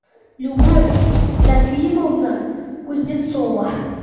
любовь трофимовна кузнецова